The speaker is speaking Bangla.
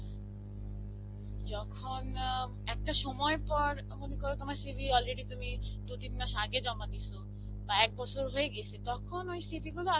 যখন অ্যাঁ একটা সময় পর মনে করো তোমার CV already তুমি দুন তিন মাস আগে জমা দিসো. বা একবছর হয়ে গিয়েসে. তখন ওই CV গুলো